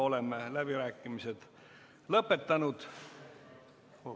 Oleme läbirääkimised lõpetanud.